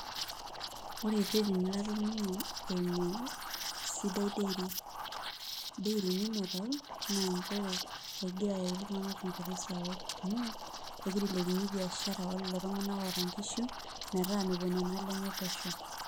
Ore rreteni latoning'o eimu Sidai Dairy Mineral, naa injere, egira aretu iltung'anak tewoi sapuk amu, egira ailepunye biashara oltung'anak oota nkishu, metaa mepuo nena ale nye pesho.